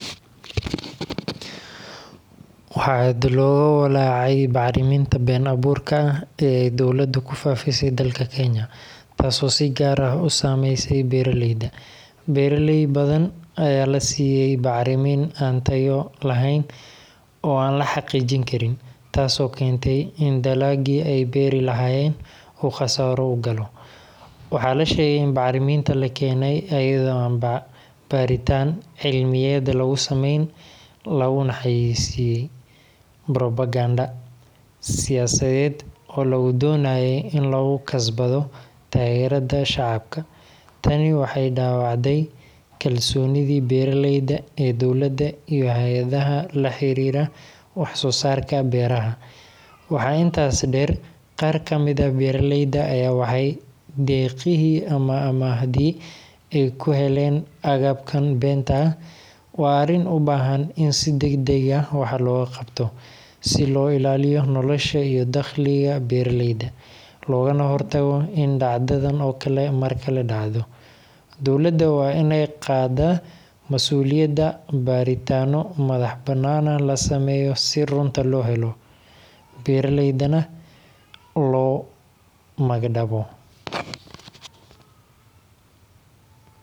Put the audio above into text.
Waxaa aad looga walaacay bacriminta been abuurka ah ee ay dawladdu ku faafisay dalka Kenya, taasoo si gaar ah u saameysay beeraleyda. Beeraley badan ayaa la siiyey bacrimin aan tayo lahayn oo aan la xaqiijin karin, taasoo keentay in dalaggii ay beeri lahaayeen uu khasaaro u galo. Waxaa la sheegay in bacrimintan la keenay iyadoo aan baaritaan cilmiyeed lagu samayn, laguna xayeysiiyey propaganda siyaasadeed oo lagu doonayey in lagu kasbado taageerada shacabka. Tani waxay dhaawacday kalsoonidii beeraleyda ee dowladda iyo hay’adaha la xiriira wax-soo-saarka beeraha. Waxaa intaas dheer, qaar ka mid ah beeraleyda ayaa waayay deeqihii ama amaahdii ay ku heleen agabkan beenta ah. Waa arrin u baahan in si degdeg ah wax looga qabto si loo ilaaliyo nolosha iyo dakhliga beeraleyda, loogana hortago in dhacdadan oo kale mar kale dhacdo. Dowladda waa inay qaaddaa masuuliyadda, baaritaanno madax-bannaanna la sameeyo si runta loo helo, beeraleydana loo magdhabo.